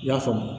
I y'a faamu